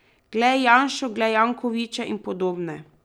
Glej Janšo, glej Jankoviča in podobne.